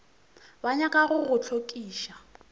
ba nyaka go go hlokiša